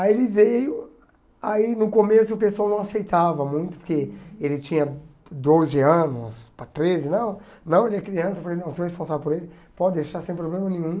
Aí ele veio, aí no começo o pessoal não aceitava muito, porque ele tinha doze anos, para treze, não, não, ele é criança, eu falei, não, sou responsável por ele, pode deixar, sem problema nenhum.